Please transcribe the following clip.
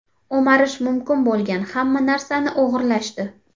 O‘marish mumkin bo‘lgan hamma narsani o‘g‘irlashdi.